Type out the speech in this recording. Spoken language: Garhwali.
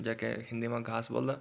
जेके हिंदी मा घास बोल्दा।